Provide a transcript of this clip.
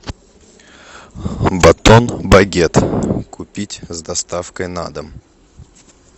батон багет купить с доставкой на дом